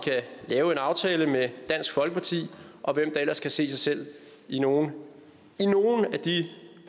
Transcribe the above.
lave en aftale med dansk folkeparti og hvem der ellers kan se sig selv i nogle af de